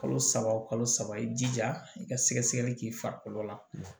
Kalo saba o kalo saba i jija i ka sɛgɛ sɛgɛli k'i farikolo la